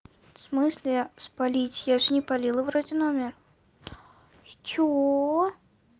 в смысле спалить я же не палила вроде номер что